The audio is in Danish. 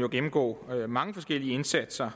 jo gennemgå mange forskellige indsatser